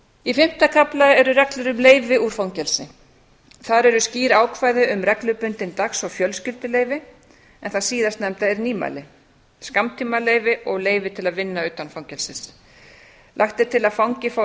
í fimmta kafla eru reglur um leyfi úr fangelsi þar eru skýr ákvæði um reglubundin dags og fjölskylduleyfi en það síðarnefnda er nýmæli skammtímaleyfi og leyfi til að vinna utan fangelsis lagt til að fangi fái